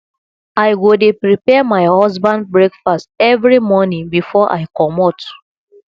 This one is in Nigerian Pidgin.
i go dey prepare my husband breakfast every morning before i comot